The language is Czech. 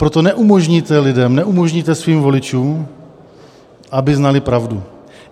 Proto neumožníte lidem, neumožníte svým voličům, aby znali pravdu.